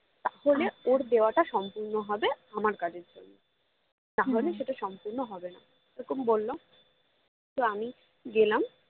ওর দেওয়াটা সম্পূর্ণ হবে আমার কাজের জন্য না হলে সেটা সম্পূর্ণ হবে না তো এরকম বললো তো আমি গেলাম